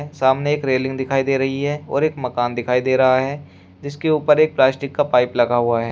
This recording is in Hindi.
सामने एक रेलिंग दिखाई दे रही है और एक मकान दिखाई दे रहा है जिसके ऊपर एक प्लास्टिक का पाइप लगा हुआ है।